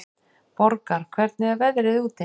Borgar, hvernig er veðrið úti?